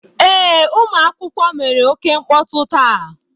Ee, ụmụ akwụkwọ mere oke mkpọtụ taa.